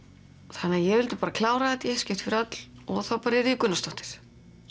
þannig ég vildi bara klára þetta í eitt skipti fyrir öll og þá bara yrði ég Gunnarsdóttir